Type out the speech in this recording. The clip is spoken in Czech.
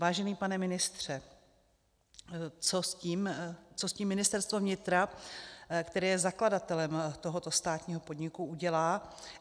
Vážený pane ministře, co s tím Ministerstvo vnitra, které je zakladatelem tohoto státního podniku, udělá?